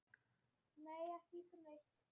Lífið heldur áfram.